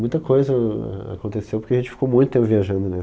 Muita coisa ah.. aconteceu porque a gente ficou muito tempo viajando, né?